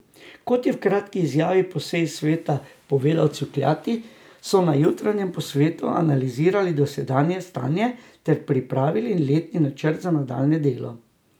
Kot je v kratki izjavi po seji sveta povedal Cukjati, so na jutranjem posvetu analizirali dosedanje stanje ter pripravili letni načrt za nadaljnje delo.